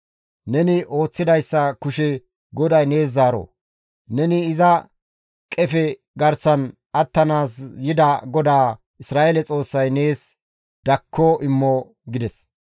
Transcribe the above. Neni ooththidayssa kushe GODAY nees zaaro. Neni iza qefe garsan attanaas yida GODAA Isra7eele Xoossay nees dakko immo» gides.